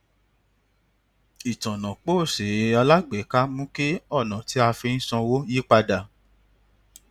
ìtànà póòsì alágbèéká mú kí ònà tí a fi ń sanwó yípadà